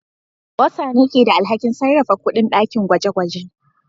Bursar ne ke da alhakin sarrafa kuɗin dakin gwaje-gwaje.